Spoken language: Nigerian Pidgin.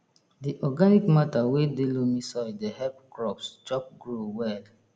di organic matter wey dey loamy soil dey help crops chop grow well